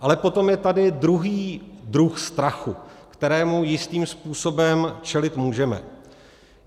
Ale potom je tady druhý druh strachu, kterému jistým způsobem čelit můžeme.